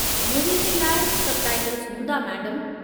Movie जे लाइ subtitles हूंदा, मैडमु।